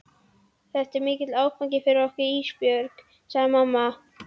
Þetta er mikill áfangi fyrir okkur Ísbjörg, segir mamma.